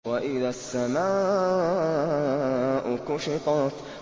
وَإِذَا السَّمَاءُ كُشِطَتْ